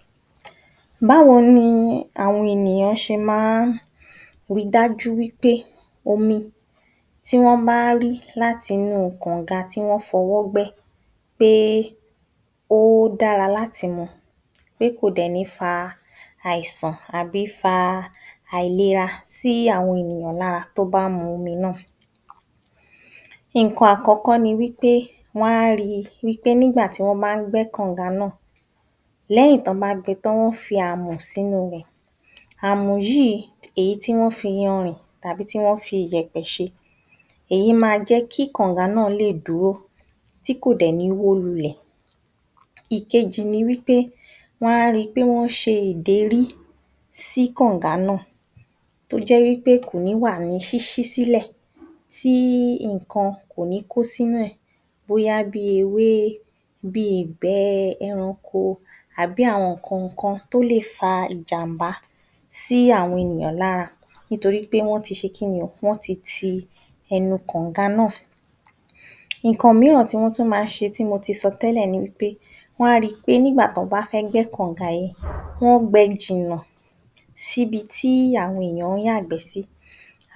00874 Báwo ni àwo̩n ènìyàn s̩e máa ń ri dájú wí pé omi tí wó̩n bá rí láti inú kànǹga tí wó̩n fo̩wó̩ gbé̩ pé ó dára láti mu, pé kò dè̩ ní fa àìsàn àbí fa àìlera sí àwo̩n ènìyàn lára tí ó bá mu omi náà? Nǹkan àkó̩kó̩ ni wí pé wo̩n a rí wí pé nígbà tí wó̩n bá ń gbé̩ kànǹga náà, lé̩yìn tí wó̩n bá gbe̩ tán wọ́n á fi àmò̩ sínú rè̩. Àmò̩ yìí èyí tí wó̩n fiyanrì tàbí tí wó̩n fiyè̩pè̩ s̩e èyí máa jé̩ kí kànǹga náà lè dúró tí kò dè̩ ní wó lulè̩. Ìkejì ni wí pé, wó̩n á ri pé wó̩n s̩e ìdérí sí kànǹga náà tó jé̩ wí pé kò ní wà ní ṣís̩í sílè̩, tí nǹkan kò ní kó sínú è̩, bóyá bí i ewé bí i ìgbé̩ e̩ranko àbí àwo̩n nǹkankan tó lè fa ìjàǹbá sí àwo̩n ènìyàn lára nítorí wí pé wó̩n ti s̩e kí ni o? wó̩n ti ti e̩nu kànǹga náà. Nǹkan mìíràn tí wó̩n tún máa ń s̩e tí mo ti so̩ té̩lè̩ ni pé wó̩n a ri pé niǵbà tí wó̩n bá fé̩ gbé̩ kànǹga yìí wó̩n gbe̩ jìnnà síbi tí àwo̩n ènìyàn ń yàgbé sí